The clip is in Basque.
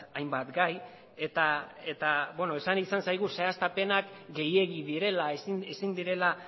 hainbat gai eta esan izan zaigu zehaztapenak gehiegi direla ezin direla